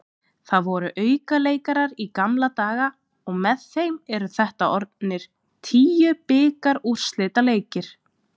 Það voru aukaleikir í gamla daga og með þeim eru þetta orðnir tíu bikarúrslitaleikir.